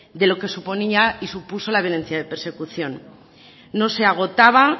de lo que suponía y supuso la violencia de persecución no se agotaba